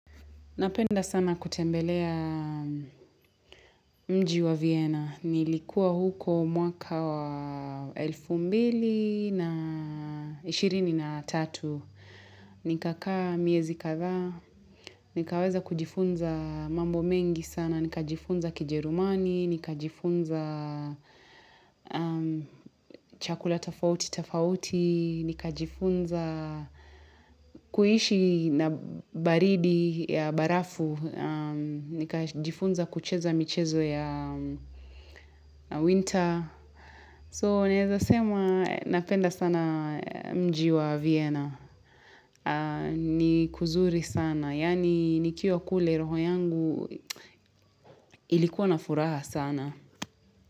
Napenda sana kutembelea mji wa Vienna. Nilikuwa huko mwaka wa elfu mbili na ishirini na tatu. Nikakaa miezi kadhaa, nikaweza kujifunza mambo mengi sana, nikajifunza kijerumani, nika jifunza chakula tofauti tofauti, nikajifunza kuishi na baridi ya barafu nikajifunza kucheza michezo ya winter So neza sema napenda sana mji wa Vienna ni kuzuri sana yani nikiwa kule roho yangu ilikuwa na furaha sana.